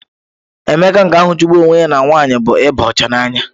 Emeka nke ahụ chụgburu onwe ya na nwanyị bụ ịba ọcha n'anya.